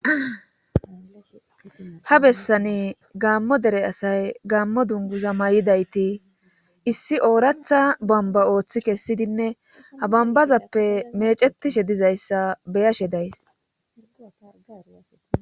ha bessani gamo dere asay gamo dunguza may7idayti issi ooratha bomba ooththi kessidinne abambazappe mecetishe dizayssa beyashe days